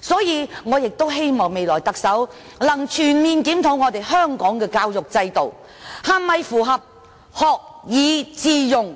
所以，我希望未來特首能全面檢討香港的教育制度是否符合學以致用